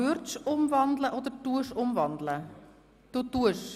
Würdest du ins Postulat wandeln oder wandelst du tatsächlich?